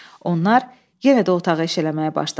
Onlar yenə də otağı eşələməyə başladılar.